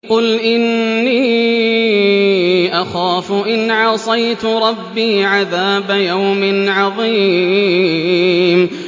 قُلْ إِنِّي أَخَافُ إِنْ عَصَيْتُ رَبِّي عَذَابَ يَوْمٍ عَظِيمٍ